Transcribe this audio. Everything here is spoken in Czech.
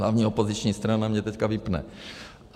Hlavní opoziční strana mě teďka vypne.